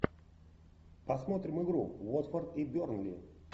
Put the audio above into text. посмотрим игру уотфорд и бернли